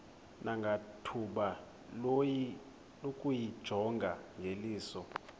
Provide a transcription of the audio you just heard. nangethuba lokuyijonga ngeliso